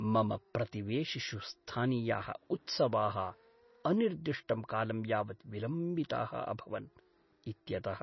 मम प्रतिवेशिषु स्थानीयाः उत्सवाः अनिर्दिष्टं कालं यावत् विलम्बिताः अभवन् इत्यतः